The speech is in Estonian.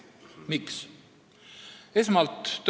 Miks?